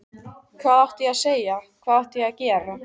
Hvað átti ég að segja, hvað átti ég að gera?